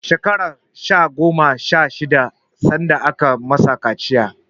Shekarar sa goma sha shida sanda aka masa kaciya.